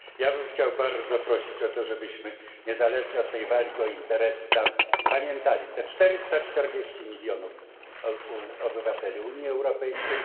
Ja bym chciał bardzo prosić o to, żebyśmy niezależnie od tej walki o interesy pamiętali o tych 440 milionach obywateli Unii Europejskiej.